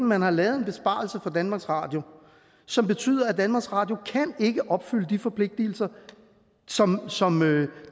man har lavet en besparelse på danmarks radio som betyder at danmarks radio ikke kan opfylde de forpligtelser som som